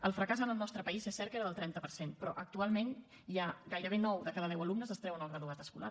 el fracàs en el nostre país és cert que era del trenta per cent però actualment ja gairebé nou de cada deu alumnes es treuen el graduat escolar